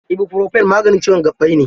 Ibofurofen maganin ciwon gaɓɓai ne.